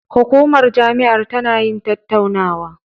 Hukumar jami'ar tana yin tattaunawa.